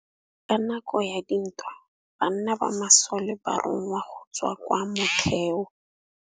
Ka nakô ya dintwa banna ba masole ba rongwa go tswa kwa mothêô.